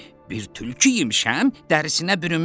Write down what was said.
Bir tülkü yemişəm, dərsinə bürünmüşəm,